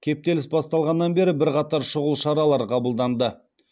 кептеліс басталғаннан бері бірқатар шұғыл шаралар қабылданды